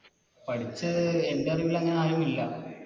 പഠിച്ചേ എൻറെറിവിൽ അങ്ങനെ ആരും ഇല്ല